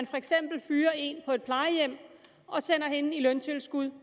for eksempel fyrer en på et plejehjem og sender hende i løntilskud